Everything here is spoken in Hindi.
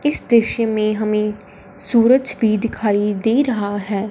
इस दृश्य में हमें सूरज भी दिखाई दे रहा है।